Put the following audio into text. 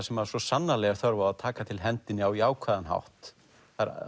sem svo sannarlega er þörf á að taka til hendinni á jákvæðan hátt það